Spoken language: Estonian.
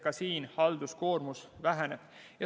Ka siin halduskoormus väheneb.